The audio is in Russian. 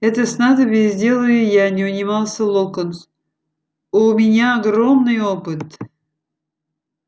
это снадобье сделаю я не унимался локонс у меня огромный опыт